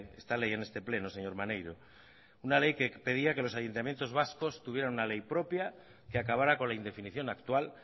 esta ley en este pleno señor maneiro una ley que pedía que los ayuntamientos vascos tuvieran una ley propia que acabara con la indefinición actual